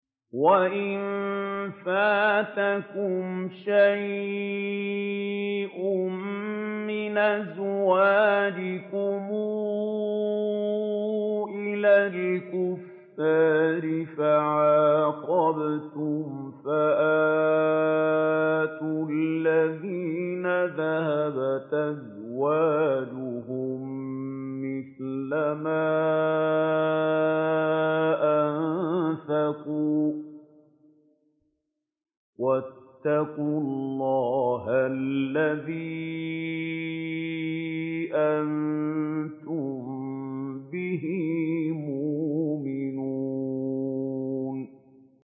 وَإِن فَاتَكُمْ شَيْءٌ مِّنْ أَزْوَاجِكُمْ إِلَى الْكُفَّارِ فَعَاقَبْتُمْ فَآتُوا الَّذِينَ ذَهَبَتْ أَزْوَاجُهُم مِّثْلَ مَا أَنفَقُوا ۚ وَاتَّقُوا اللَّهَ الَّذِي أَنتُم بِهِ مُؤْمِنُونَ